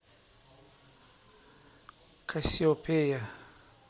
кассиопея